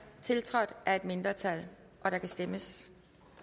tiltrådt af et mindretal og der kan stemmes